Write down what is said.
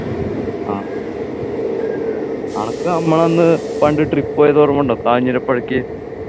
ആ അനക്ക് നമ്മളന്നു പണ്ട് trip പോയത് ഓർമ്മയുണ്ടോ കാഞ്ഞിരപള്ളിക്ക്